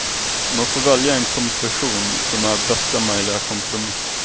Man får välja en kompression som är bästa möjliga kompromiss.